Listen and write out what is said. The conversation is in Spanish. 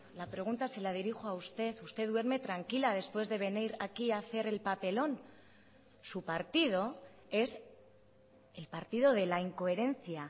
la pregunta se la dirijo a usted usted duerme tranquila después de venir aquí a hacer el papelón su partido es el partido de la incoherencia